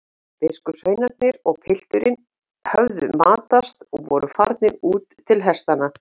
Biskupssveinarnir og pilturinn höfðu matast og voru farnir út til hestanna.